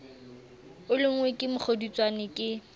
o lonngwe ke mokgodutswane ke